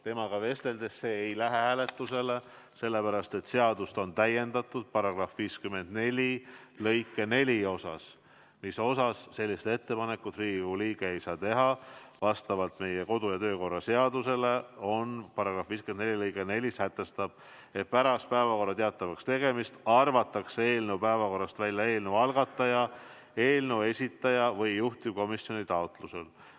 Temaga vesteldes jõudsime järeldusele, et see ei lähe hääletusele, sellepärast et meie kodu- ja töökorra seaduse § 54 lõige 4 sätestab, et pärast päevakorra teatavaks tegemist arvatakse eelnõu päevakorrast välja eelnõu algataja, eelnõu esitaja või juhtivkomisjoni taotlusel.